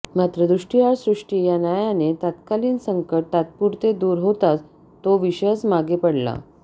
मात्र दृष्टीआड सृष्टी या न्यायाने तत्कालीन संकट तात्पुरते दूर होताच तो विषयच मागे पडला